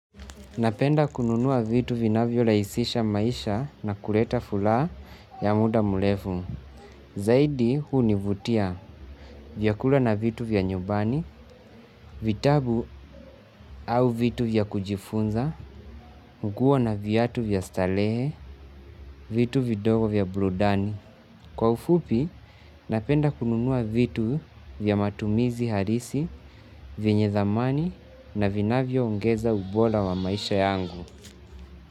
Napenda kununua vitu vinavyo lahisisha maisha na kuleta furaha ya muda murefu. Zaidi hunivutia vyakula na vitu vya nyumbani, vitabu au vitu vya kujifunza, nguo na viatu vya starehe, vitu vidogo vya burudani. Kwa ufupi, napenda kununua vitu vya matumizi harisi, vyenye dhamani na vinavyo ongeza ubora wa maisha yangu.